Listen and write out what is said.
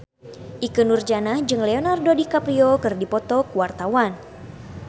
Ikke Nurjanah jeung Leonardo DiCaprio keur dipoto ku wartawan